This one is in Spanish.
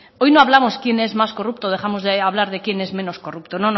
hoy no hablamos quién es más corrupto dejamos de hablar de quién es menos corrupto